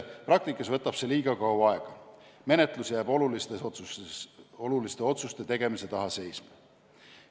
Praktikas võtab see liiga kaua aega, menetlus jääb oluliste otsuste tegemise taha seisma.